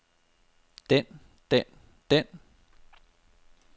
den den den